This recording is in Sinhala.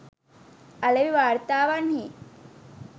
අලෙවි වාර්තාවන්හි